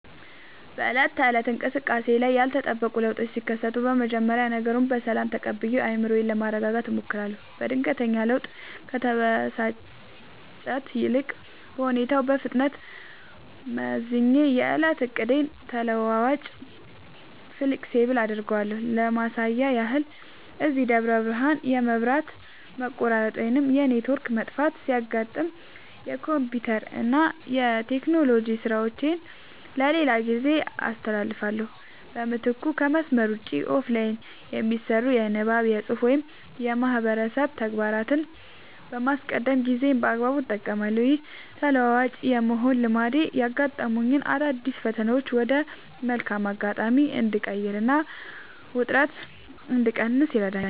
በዕለት ተዕለት እንቅስቃሴዬ ላይ ያልተጠበቁ ለውጦች ሲከሰቱ፣ መጀመሪያ ነገሩን በሰላም ተቀብዬ አእምሮዬን ለማረጋጋት እሞክራለሁ። በድንገተኛ ለውጥ ከመበሳጨት ይልቅ፣ ሁኔታውን በፍጥነት መዝኜ የዕለቱን ዕቅዴን ተለዋዋጭ (Flexible) አደርገዋለሁ። ለማሳያ ያህል፣ እዚህ ደብረ ብርሃን የመብራት መቆራረጥ ወይም የኔትወርክ መጥፋት ሲያጋጥመኝ፣ የኮምፒውተርና የቴክኖሎጂ ሥራዎቼን ለሌላ ጊዜ አስተላልፋለሁ። በምትኩ ከመስመር ውጭ (Offline) የሚሰሩ የንባብ፣ የፅሁፍ ወይም የማህበረሰብ ተግባራትን በማስቀደም ጊዜዬን በአግባቡ እጠቀማለሁ። ይህ ተለዋዋጭ የመሆን ልማዴ ያጋጠሙኝን አዳዲስ ፈተናዎች ወደ መልካም አጋጣሚ እንድቀይርና ውጥረት እንድቀንስ ይረዳኛል።